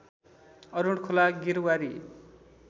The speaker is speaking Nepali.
अरूण खोला गिरवारी